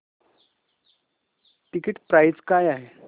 ticket price काय आहे